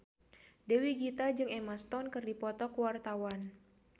Dewi Gita jeung Emma Stone keur dipoto ku wartawan